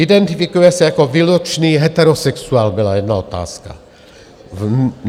Identifikuje se jako výlučný heterosexuál - byla jedna otázka.